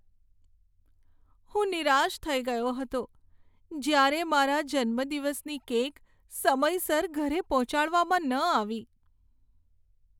હું નિરાશ થઈ ગયો હતો જ્યારે મારા જન્મદિવસની કેક સમયસર ઘરે પહોંચાડવામાં ન આવી.